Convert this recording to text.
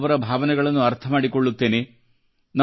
ನಾನು ಅವರ ಭಾವನೆಗಳನ್ನು ಅರ್ಥ ಮಾಡಿಕೊಳ್ಳುತ್ತೇನೆ